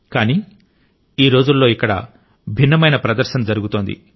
కానీ ఈ రోజుల్లో ఇక్కడ భిన్నమైన ప్రదర్శన జరుగుతోంది